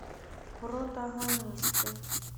протагонисты